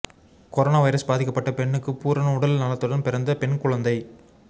corona virus பாதிக்கப்பட்ட பெண்ணுக்கு பூரண உடல் நலத்துடன் பிறந்த பெண் குழந்தை